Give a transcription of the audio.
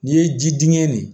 N'i ye ji dingɛ nin